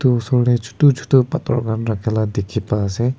itu osor tey chuto chuto pathor khan rakha la dikhi pai ase.